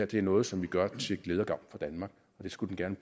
det er noget som vi gør til glæde og gavn for danmark det skulle den